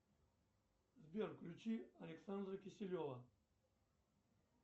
сбер включи александра киселева